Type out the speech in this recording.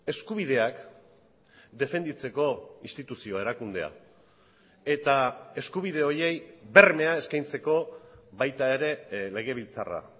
eskubideak defenditzeko instituzioa erakundea eta eskubide horiei bermea eskaintzeko baita ere legebiltzarra